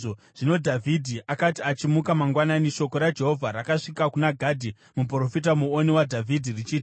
Zvino Dhavhidhi akati achimuka mangwanani, shoko raJehovha rakasvika kuna Gadhi muprofita, muoni waDhavhidhi richiti,